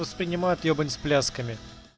воспринимают ебань с плясками